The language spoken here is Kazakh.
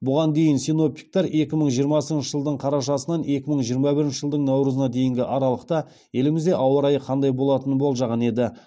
бұған дейін синоптиктер екі мың жиырмасыншы жылдың қарашасынан екі мың жиырма бірінші жылдың наурызына дейінгі аралықта елімізде ауа райы қандай болатынын болжаған еді